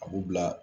A b'u bila